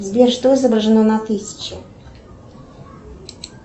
сбер что изображено на тысяче